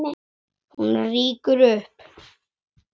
Hún rýkur upp.